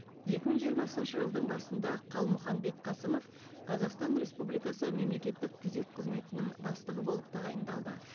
екі мың жиырмасыншы жылдың басында қалмұханбет қасымов қазақстан республикасы мемлекеттік күзет қызметінің бастығы болып тағайындалды